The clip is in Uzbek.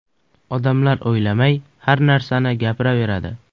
Odamlar o‘ylamay har narsani gapiraveradi.